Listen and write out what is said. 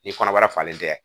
Ni kɔnɔbara falen tɛ